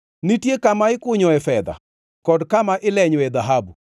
“Nitie kama ikunyoe fedha kod kama ilenyoe dhahabu.